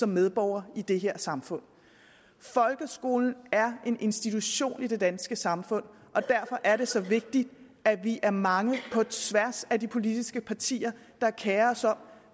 medborgere i det her samfund folkeskolen er en institution i det danske samfund og derfor er det så vigtigt at vi er mange på tværs af de politiske partier der kerer sig om